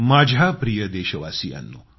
माझ्या प्रिय देशवासियांनो